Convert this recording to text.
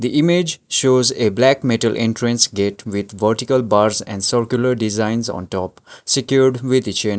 the image shows a black metal entrance gate with vertical bars and circular designs on top secured with a chain.